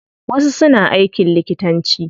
Wasu suna aikin likitanci.